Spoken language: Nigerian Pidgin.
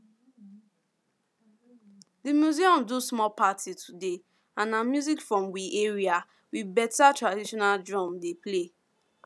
di museum do small party today and na music from we area with beta traditional drum dem play